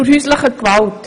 Zur häuslichen Gewalt: